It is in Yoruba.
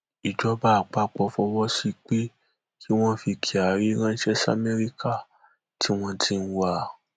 ìjọba àpapọ fọwọ sí i pé kí wọn fi kyari ránṣẹ samẹríkà tí wọn ti ń wá a